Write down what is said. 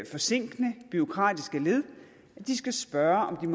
forsinkende bureaukratiske led at de skal spørge om